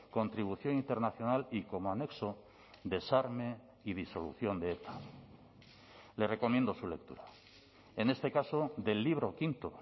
contribución internacional y como anexo desarme y disolución de eta le recomiendo su lectura en este caso del libro quinto